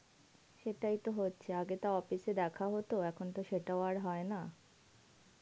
সেটাই তো হচ্ছে আগে তাও office এ দেখা হতো এখন তো সেটাও আর হয় না.